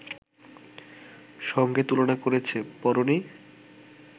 সঙ্গে তুলনা করেছে, পড়োনি